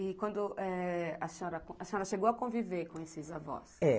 E quando, eh... A senhora... A senhora chegou a conviver com esses avós? É